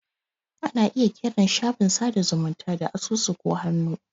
Ana iya kiran shafin sada zumunta da asusu ko hannu.